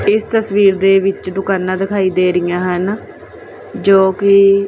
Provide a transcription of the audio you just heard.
ਇਸ ਤਸਵੀਰ ਦੇ ਵਿੱਚ ਦੁਕਾਨਾਂ ਦਿਖਾਈ ਦੇ ਰਹੀਆਂ ਹਨ ਜੋ ਕਿ --